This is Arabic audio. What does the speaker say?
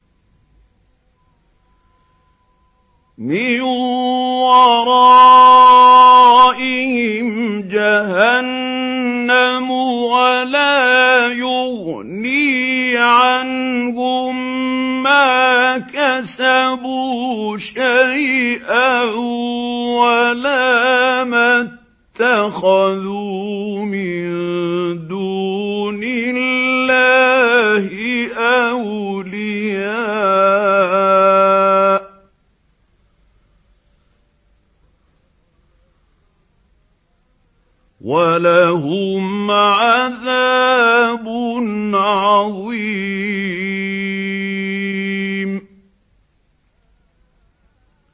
مِّن وَرَائِهِمْ جَهَنَّمُ ۖ وَلَا يُغْنِي عَنْهُم مَّا كَسَبُوا شَيْئًا وَلَا مَا اتَّخَذُوا مِن دُونِ اللَّهِ أَوْلِيَاءَ ۖ وَلَهُمْ عَذَابٌ عَظِيمٌ